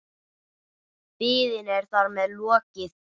Biðinni er þar með lokið.